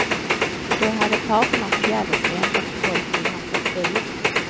Då hade parterna förgäves väntat i tolv timmar på ett bud.